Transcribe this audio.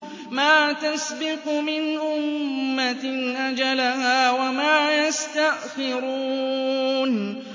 مَّا تَسْبِقُ مِنْ أُمَّةٍ أَجَلَهَا وَمَا يَسْتَأْخِرُونَ